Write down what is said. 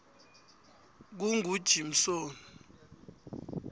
kungujimsoni